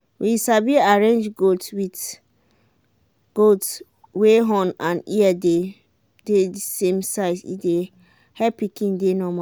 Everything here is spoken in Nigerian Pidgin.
we sabi arrange goat with goat wey horn and ear dey the same size e help pikin dey normal